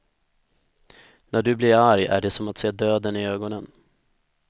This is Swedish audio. När du blir arg är det som att se döden i ögonen.